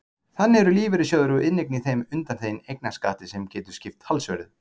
Þannig eru lífeyrissjóðir og inneign í þeim undanþegin eignarskatti sem getur skipt talsverðu.